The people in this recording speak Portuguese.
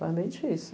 Foi bem difícil.